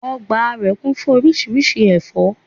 Ogbà rè kún fún orísirísi èfó